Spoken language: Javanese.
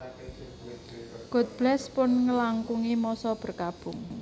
God Bless pun ngelangkungi masa berkabung